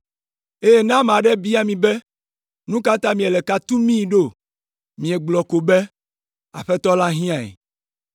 Eye ne ame aɖe bia mi be, ‘Nu ka ta miele ka tumii ɖo?’ miegblɔ ko be, ‘Aƒetɔ la hiãe.’ ”